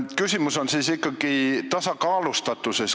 Küsimus on ikkagi tasakaalustatuses.